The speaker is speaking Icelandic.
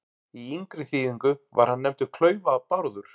Í yngri þýðingu var hann nefndur Klaufa-Bárður.